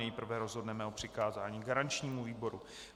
Nejprve rozhodneme o přikázání garančnímu výboru.